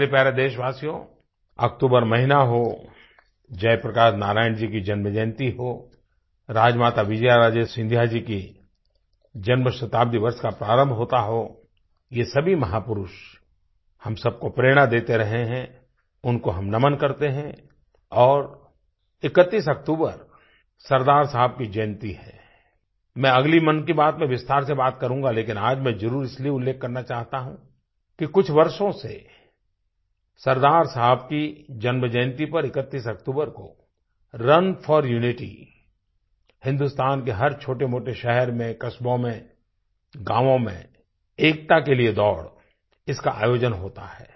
मेरे प्यारे देशवासियो अक्तूबर महीना हो जय प्रकाश नारायण जी की जन्मजयन्ती हो राजमाता विजयाराजे सिंधिया जी की जन्म शताब्दी वर्ष का प्रारंभ होता हो ये सभी महापुरुष हम सब को प्रेरणा देते रहे हैं उनको हम नमन करते हैं और 31 अक्तूबर सरदार साहब की जयंती है मैं अगली मन की बात में विस्तार से बात करूँगा लेकिन आज मैं जरुर इसलिए उल्लेख करना चाहता हूँ कि कुछ वर्षों से सरदार साहब की जन्मजयंती पर 31 अक्तूबर को रुन फोर Unityहिन्दुस्तान के हर छोटेमोटे शहर में कस्बों में गाँवों में एकता के लिए दौड़ इसका आयोजन होता है